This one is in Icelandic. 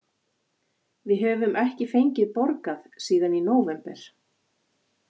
Við höfum ekki fengið borgað síðan í nóvember.